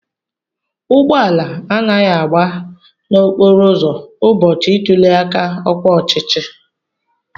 Ụgbọala anaghị agba na-okporo ụzọ ụbọchị ntuli aka ọkwa ọchịchị.